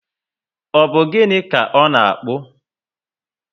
Ọ bu gịnị ka ọ na akpu?